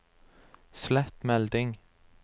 slett melding